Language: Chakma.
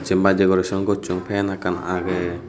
jin pai decoration gossun fan ekkan age.